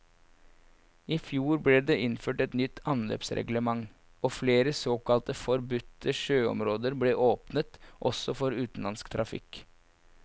I fjor ble det innført et nytt anløpsreglement, og flere såkalte forbudte sjøområder ble åpnet også for utenlandsk trafikk.